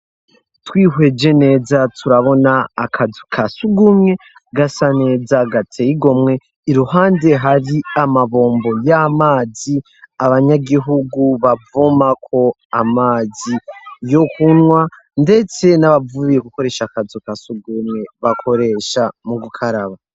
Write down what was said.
Twihweje neza turabona akazu ka surwumwe, gasa neza gateye igomwe. Iruhande hari amabombo y'amazi, abanyagihugu bavomako amazi yo kunwa, ndetse n'abavuye gukoresha akazu ka surwumwe bakoresha mu gukaraba.